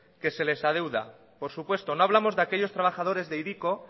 que se les adeuda por supuesto no hablamos de aquellos trabajadores de hiriko